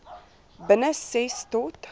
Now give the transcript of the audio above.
binne ses tot